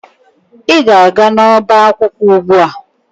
Ị ga-aga n'ọbá akwụkwọ ugbu a!